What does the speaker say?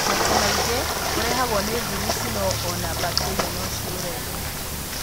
Maita maingĩ ũrehagwo nĩ vairaci no ona bakteria no ciũrehe.